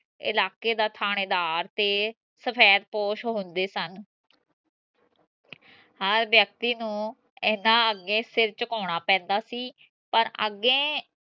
ਇਲਾਕੇ ਦਾ ਥਾਣੇਦਾਰ ਤੇ ਸਫੈਦਪੋਸ਼ ਹੁੰਦੇ ਸਨ ਹਰ ਵਿਅਕਤੀ ਨੂੰ ਏਦਾਂ ਅਗੇ ਸਿਰ ਚੁਕੋਨਾ ਪੈਂਦਾ ਸੀ ਪਰ ਅਗੇ